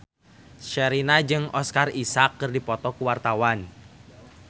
Sherina jeung Oscar Isaac keur dipoto ku wartawan